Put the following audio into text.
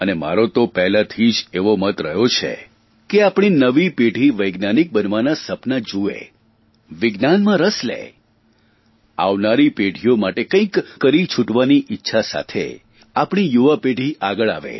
અને મારો તો પહેલાંથી જ એવો મત રહ્યો છે કે આપણી નવી પેઢી વૈજ્ઞાનિક બનવાનાં સપનાં જૂએ વિજ્ઞાનમાં રસ લે આવનારી પેઢીઓ માટે કંઇક કરી છુટવાની ઇચ્છા સાથે આપણી યુવાપેઢી આગળ આવે